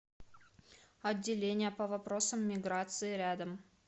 отделение по вопросам миграции рядом